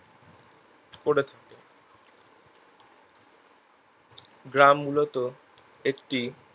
গ্রাম মূলত একটি